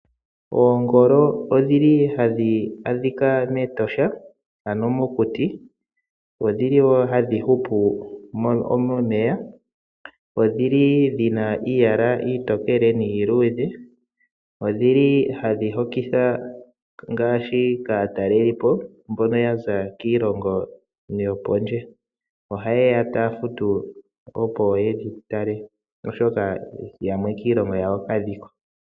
Oongolo odhili hadhi adhika meEtosha ano mokuti, odhili wo hadhi hupu mmeya. Odhina iiyala iitookele niiludhe, odhili hadhi hokitha kaataleli po ngaashi mbono yaza kiilongo yopondje, ohaye ya taya futu opo yedhi tale, oshoka yamwe kiilonga yawo kadhiko.